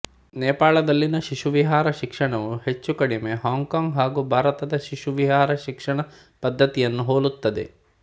ನೇಪಾಳದಲ್ಲಿನ ಶಿಶುವಿಹಾರ ಶಿಕ್ಷಣವು ಹೆಚ್ಚುಕಡಿಮೆ ಹಾಂಗ್ಕಾಂಗ್ ಹಾಗು ಭಾರತದ ಶಿಶುವಿಹಾರ ಶಿಕ್ಷಣ ಪದ್ದತಿಯನ್ನು ಹೋಲುತ್ತದೆ